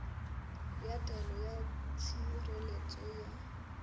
ya taelo ya tshireletso ya